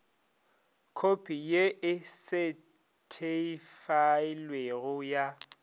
khopi ye e setheifailwego ya